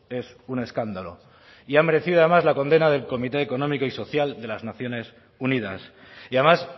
es un escándalo y ha merecido además la condena del comité económico y social de las naciones unidas y además